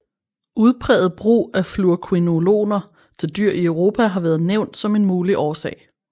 Udpræget brug af fluorquinoloner til dyr i Europa har været nævnt som en mulig årsag